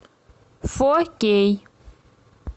фо кей